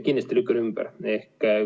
Kindlasti lükkan ümber.